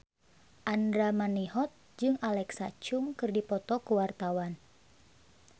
Andra Manihot jeung Alexa Chung keur dipoto ku wartawan